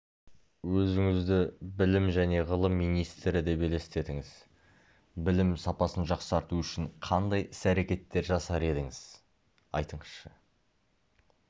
өзіңізді білім және ғылым министрі деп елестетіңіз білім сапасын жақсарту үшін қандай іс-әрекеттер жасар едіңіз айтыңызшы